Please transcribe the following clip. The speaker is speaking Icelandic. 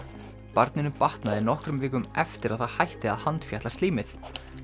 barninu batnaði nokkrum vikum eftir að það hætti að handfjatla slímið